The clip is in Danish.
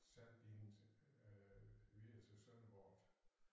Sendte de hende videre til Sønderborg